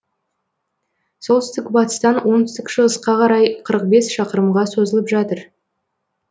солтүстік батыстан оңтүстік шығысқа қарай қырық бес шақырымға созылып жатыр